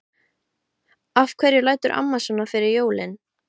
Af hverju lætur amma svona fyrir jólin?